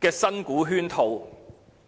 的新股圈套。